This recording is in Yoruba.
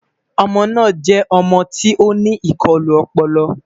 ọmọ na jẹ ọmọ tí oní ikọlu ọpọlọ